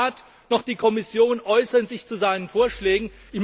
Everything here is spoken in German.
Weder der Rat noch die Kommission äußern sich zu seinen Vorschlägen.